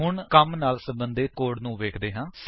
ਹੁਣ ਕੰਮ ਨਾਲ ਸੰਬੰਧਿਤ ਕੋਡ ਨੂੰ ਵੇਖਦੇ ਹਾਂ